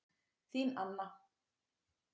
Þín Anna